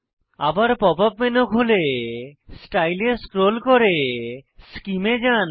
আবার pop up menu খুলে style এ স্ক্রোল করে সেমে এ যান